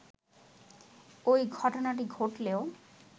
ওই ঘটনাটি ঘটলেও